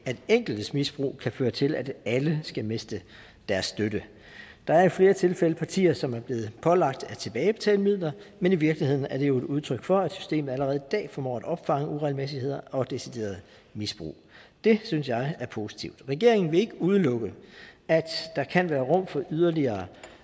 enkeltes misbrug kan føre til at alle skal miste deres støtte der er i flere tilfælde partier som er blevet pålagt at tilbagebetale midler men i virkeligheden er det jo et udtryk for at systemet allerede i dag formår at opfange uregelmæssigheder og decideret misbrug det synes jeg er positivt regeringen vil ikke udelukke at der kan være rum for